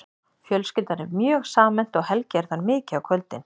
Fjölskyldan er mjög samhent og Helgi er þar mikið á kvöldin.